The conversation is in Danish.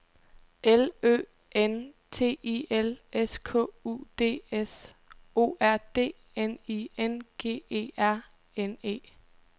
L Ø N T I L S K U D S O R D N I N G E R N E